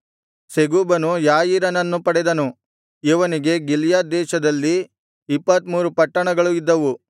ಸೆಗೂಬನು ಯಾಯೀರನನ್ನು ಪಡೆದನು ಇವನಿಗೆ ಗಿಲ್ಯಾದ್ ದೇಶದಲ್ಲಿ ಇಪ್ಪತ್ತ್ಮೂರು ಪಟ್ಟಣಗಳು ಇದ್ದವು